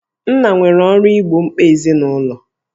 Nna nwere ọrụ igbo mkpa ezinụlọ